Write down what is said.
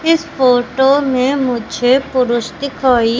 इस फोटो में मुझे पुरुष दिखाई--